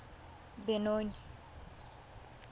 benoni